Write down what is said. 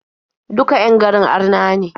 Duka 'yan garin arna ne.